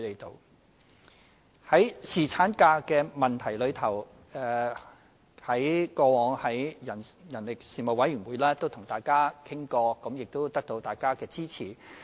在侍產假方面，我們過去也曾在人力事務委員會與議員討論，並取得大家的支持。